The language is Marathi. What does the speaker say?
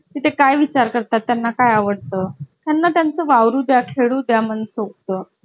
अं परवाला, परवाला जायचं मग